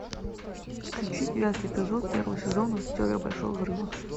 включи девятый эпизод первого сезона теория большого взрыва